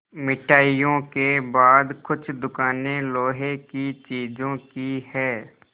मिठाइयों के बाद कुछ दुकानें लोहे की चीज़ों की हैं